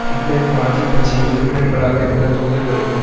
ஹிட்லரின் நாஜிக்கட்சியில் உறுப்பினர்களாக இருந்த தூதர்களுக்கு